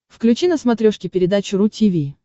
включи на смотрешке передачу ру ти ви